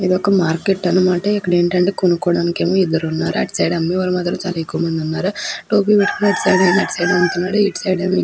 ఇది ఒక మార్కెట్ అన్నమాట. ఇక్కడ ఏంటంటే కొనుక్కోడానికి ఏమో ఇద్దరు ఉన్నారు. ఇటు సైడ్ అమ్మేవాళ్ళు మాత్రం చాలా ఎక్కువ మంది ఉన్నారు. టోపీ పెట్టుకున్న వాళ్ళు అటు సైడ్ నుంచి ఉన్నారు. ఇటు సైడ్ ఏమో--